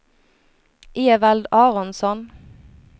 Evald Aronsson